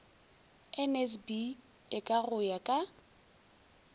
nsb eka go ya ka